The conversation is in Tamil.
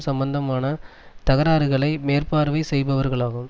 சம்பந்தமான தகராறுகளை மேற்பார்வை செய்பவர்களாகும்